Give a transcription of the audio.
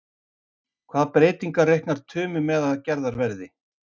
Hvaða breytingar reiknar Tumi með að gerðar verði?